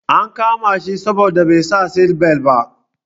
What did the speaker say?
An kama shi saboda bai sa seatbelt ba.